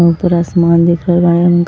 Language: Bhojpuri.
ऊपर आसमान दिख रहल बाड़े उनका --